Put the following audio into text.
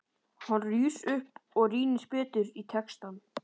Hann rís upp og rýnir betur í textann.